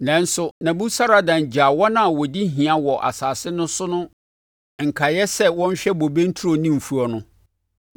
Nanso, Nebusaradan gyaa wɔn a wɔdi hia wɔ asase no so no nkaeɛ sɛ wɔnhwɛ bobe nturo ne mfuo no.